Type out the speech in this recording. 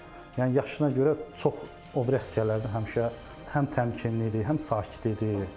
Yəni yaşına görə çox o biri əsgərlərdən həmişə həm təmkinli idi, həm sakit idi.